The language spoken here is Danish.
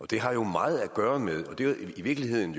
det har jo meget at gøre med og det er i virkeligheden